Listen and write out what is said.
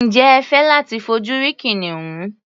Ǹjẹ́ ẹ fẹ́ láti fojú rí kìnìún?